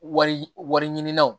Wari wari ɲini na